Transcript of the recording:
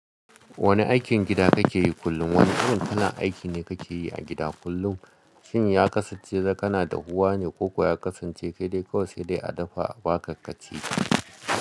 Wane aikin gida kake yi kullum? Wane irin kalan aiki ne kake yi a gida kullum? Shin ya kasance kana dahuwa ne ko kuwa ya kasance kai dai kawai sai dai a dafa abaka kaci?